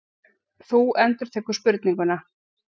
Þú endurtekur spurninguna.